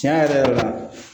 Tiɲɛ yɛrɛ yɛrɛ la